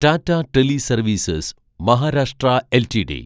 Tata teleservices (Maharashtra) LTD